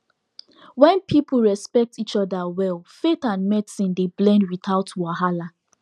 wen people respect each other well faith and medicine dey blend without wahala